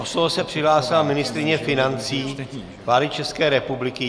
O slovo se přihlásila ministryně financí vlády České republiky.